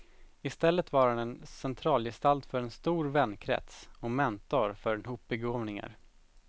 I stället var han centralgestalt för en stor vänkrets och mentor för en hop begåvningar.